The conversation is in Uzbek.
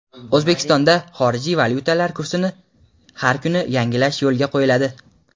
O‘zbekistonda xorijiy valyutalar kursini har kuni yangilash yo‘lga qo‘yiladi.